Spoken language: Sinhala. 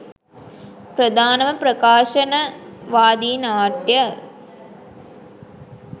ප්‍රධානම ප්‍රකාශනවාදී නාට්‍ය